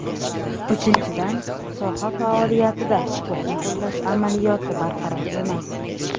Uchinchidan, soha faoliyatida huquqni qo‘llash amaliyoti barqaror emas.